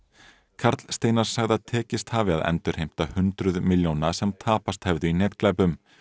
karl Steinar sagði að tekist hafi að endurheimta hundruð milljóna sem tapast hefðu í netglæpum